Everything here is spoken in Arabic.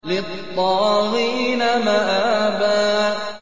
لِّلطَّاغِينَ مَآبًا